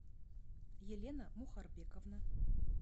елена мухарбековна